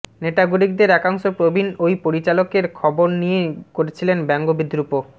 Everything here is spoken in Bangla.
নেটাগরিকদের একাংশ প্রবীণ ওই পরিচালকের খবর নিয়ে করছিলেন ব্যঙ্গ বিদ্রুপও